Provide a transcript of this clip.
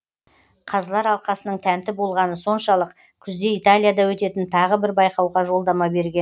қазылар алқасының тәнті болғаны соншалық күзде италияда өтетін тағы бір байқауға жолдама берген